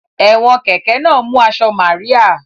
Ẹ̀wọ̀n kẹ̀kẹ́ náà mú aṣọ Màríà